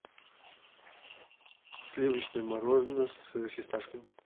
сливочное мороженое с фисташками